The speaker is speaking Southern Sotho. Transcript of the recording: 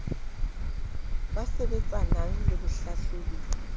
ba sebetsanang le bohlahlobi le